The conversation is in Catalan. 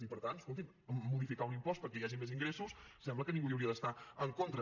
i per tant escoltin modificar un impost perquè hi hagi més ingressos sembla que ningú hi hauria d’estar en contra